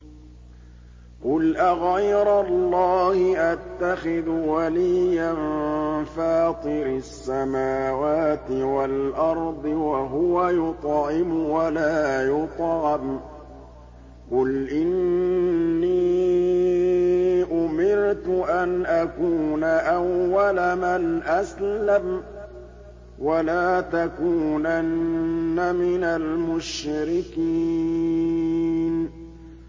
قُلْ أَغَيْرَ اللَّهِ أَتَّخِذُ وَلِيًّا فَاطِرِ السَّمَاوَاتِ وَالْأَرْضِ وَهُوَ يُطْعِمُ وَلَا يُطْعَمُ ۗ قُلْ إِنِّي أُمِرْتُ أَنْ أَكُونَ أَوَّلَ مَنْ أَسْلَمَ ۖ وَلَا تَكُونَنَّ مِنَ الْمُشْرِكِينَ